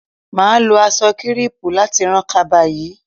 Mà á lo aṣọ kírẹ́pù láti ran kaba yìí